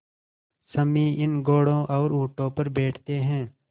सम्मी इन घोड़ों और ऊँटों पर बैठते हैं